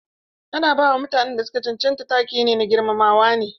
Ana ba wa mutanen da su ka cancanta take na girmamawa ne.